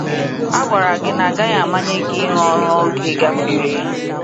A gwara gị na agaghị amanye gị ịrụ ọrụ oge gafere.